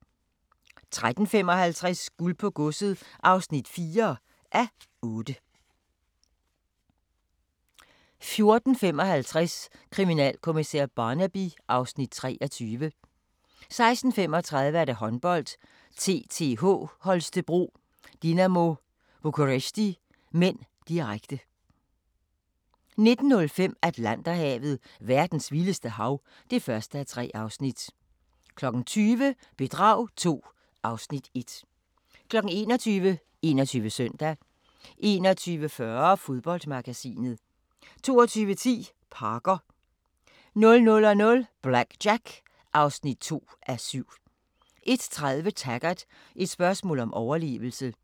13:55: Guld på godset (4:8) 14:55: Kriminalkommissær Barnaby (Afs. 23) 16:35: Håndbold: TTH Holstebro-Dinamo Bucuresti (m), direkte 19:05: Atlanterhavet: Verdens vildeste hav (1:3) 20:00: Bedrag II (Afs. 1) 21:00: 21 Søndag 21:40: Fodboldmagasinet 22:10: Parker 00:00: BlackJack (2:7) 01:30: Taggart: Et spørgsmål om overlevelse